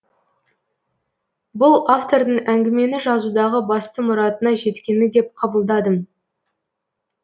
бұл автордың әңгімені жазудағы басты мұратына жеткені деп қабылдадым